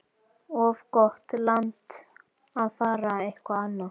Of gott land til að fara eitthvað annað.